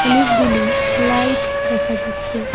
অনেকগুলি লাইট দেখা যাচ্ছে।